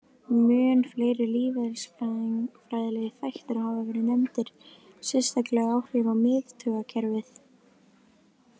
Mun fleiri lífeðlisfræðilegir þættir hafa verið nefndir, sérstaklega áhrif á miðtaugakerfið.